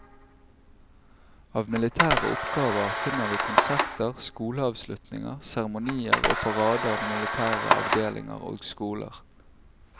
Av militære oppgaver finner vi konserter, skoleavslutninger, seremonier og parader ved militære avdelinger og skoler.